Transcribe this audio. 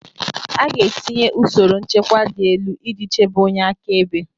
A ga-etinye usoro nchekwa dị elu iji chebe onye akaebe